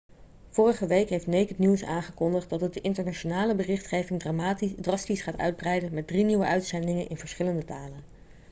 vorige week heeft naked news aangekondigd dat het de internationale berichtgeving drastisch gaat uitbreiden met drie nieuwe uitzendingen in verschillende talen